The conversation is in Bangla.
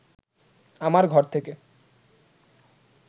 আমার ঘর থেকে